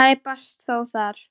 Tæpast þó þar.